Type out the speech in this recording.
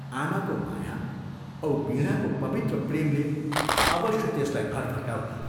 आमाको माया औ वीणाको पवित्र प्रेमले अवश्य त्यसलाई घर फर्काउला।